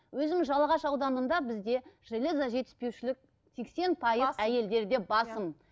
өзім жалағаш ауданында бізде железо жетіспеушілік сексен пайыз әйелдерде басым